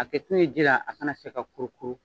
A kɛ kun ye ji la, a kana se ka kuru kuru